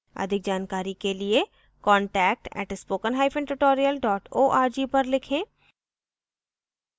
अधिक जानकारी के लिए contact @spoken hyphen tutorial dot org पर लिखें